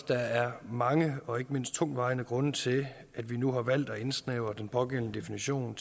der er mange og ikke mindst tungtvejende grunde til at vi nu har valgt at indsnævre den pågældende definition